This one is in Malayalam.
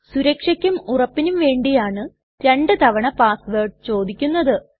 സുരക്ഷയ്ക്കും ഉറപ്പിനും വേണ്ടിയാണു രണ്ടു തവണ പാസ് വേർഡ് ചോദിക്കുന്നത്